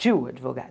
Tio advogado.